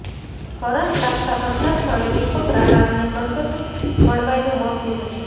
current લાગતા ઘટના સ્થળે દિપક રાણા અને ગણપત વળવાઈનું મોત નિપજ્યું